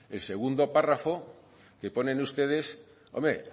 el segundo párrafo que ponen ustedes hombre